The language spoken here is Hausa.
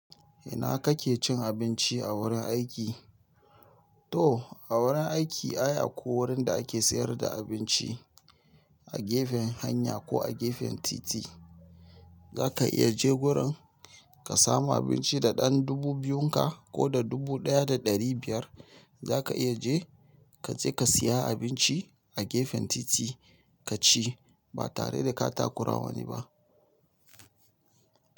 Ina kake cin abinci a wurin aiki? To a wurin aiki ai akwai wurin da ake sayar da abinci a gefen hanya ko a gefen titi. Zaka iya je gurin ka samu abinci da ɗan dubu biyun ka ko da dubu ɗaya da ɗari biyar. Zaka iya je kaje ka siya abinci a gefen titi kaci ba tare da ka takurawa wani ba.